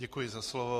Děkuji za slovo.